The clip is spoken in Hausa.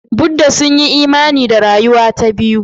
Buddha sun yi imani da rayuwa ta biyu.